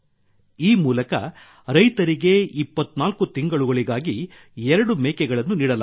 ಈ ಮೂಲಕ ರೈತರಿಗೆ 24 ತಿಂಗಳುಗಳಿಗಾಗಿ ಎರಡು ಮೇಕೆಗಳನ್ನು ನೀಡಲಾಗುತ್ತದೆ